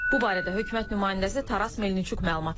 Bu barədə hökumət nümayəndəsi Taras Melniçuk məlumat yayıb.